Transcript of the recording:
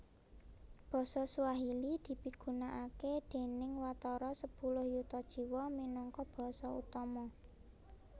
Basa Swahili dipigunakaké déning watara sepuluh yuta jiwa minangka basa utama